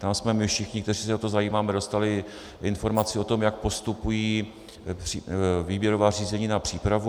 Tam jsme my všichni, kteří se o to zajímáme, dostali informaci o tom, jak postupují výběrová řízení na přípravu.